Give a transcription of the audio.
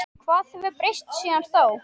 Hvað hefur breyst síðan þá?